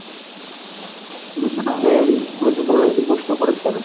আপনি গুরুত্বপূর্ন একটি প্রশ্ন করেছেন।